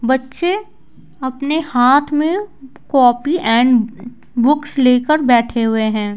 बच्चे अपने हाथ में कॉपी एंड बुक्स लेकर बैठे हुए हैं।